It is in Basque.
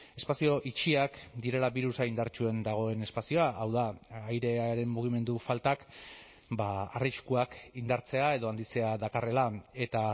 espazio itxiak direla birusa indartsuen dagoen espazioa hau da airearen mugimendu faltak arriskuak indartzea edo handitzea dakarrela eta